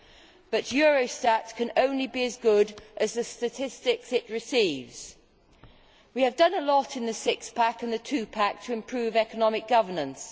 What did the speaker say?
However, Eurostat can only be as good as the statistics it receives. We have done a lot in the Six Pack and the Two Pack to improve economic governance.